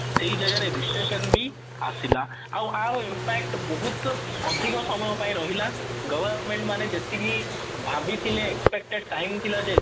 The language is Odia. ସେଇ ଜାଗା ରେ ବି ଆସିଲା ଏହାର impact ବହୁତ ଅଧିକ ସମୟ ପାଇଁ ରହିଲା government ମାନେ ଯେତିକି ଭାବିଥିଲେ expected time ଥିଲା ଯେ